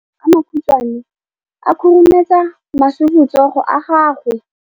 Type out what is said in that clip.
Matsogo a makhutshwane a khurumetsa masufutsogo a gago.